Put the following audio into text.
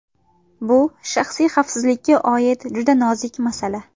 Bu shaxsiy xavfsizlikka oid juda nozik masala.